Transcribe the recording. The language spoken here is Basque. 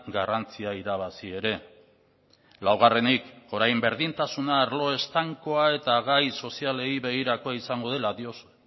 garrantzia irabazi ere laugarrenik orain berdintasuna arlo estankoa eta gai sozialei begirakoa izango dela diozu